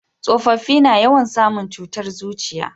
tsofaffi na yawan samu cutar zuciya